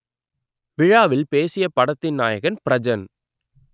விழாவில் பேசிய படத்தின் நாயகன் பிரஜன்